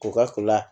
U ka